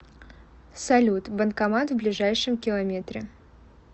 салют банкомат в ближайшем километре